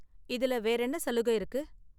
இதுல வேறென்ன சலுக இருக்கு?